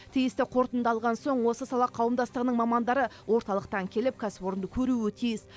тиісті қорытынды алған соң осы сала қауымдастығының мамандары орталықтан келіп кәсіпорынды көруі тиіс